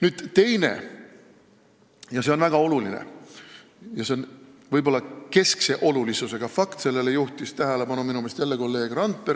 Nüüd teine ja väga oluline asi, mis on võib-olla keskse olulisusega ja millele juhtis minu meelest tähelepanu jälle kolleeg Randpere.